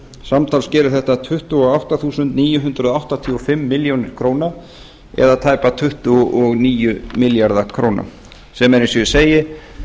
samtals gerir þetta tuttugu og átta þúsund níu hundruð áttatíu og fimm milljónir króna eða tæpa tuttugu og níu milljarða króna sem er eins og ég segi